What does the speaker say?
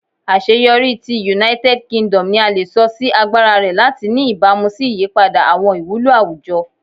Aṣeyọri ti United Kingdom ni a le sọ si agbara rẹ lati ni ibamu si iyipada awọn iwulo awujọ